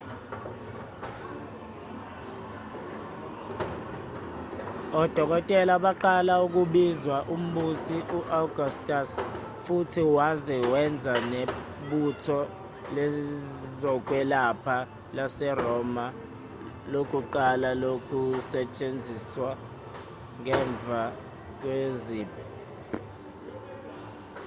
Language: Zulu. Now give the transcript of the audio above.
odokotela baqala ukubizwa umbusi u-augustus futhi waze wenza nebutho lezokwelapha laseroma lokuqala lokusetshenziswa ngemva kwezimpi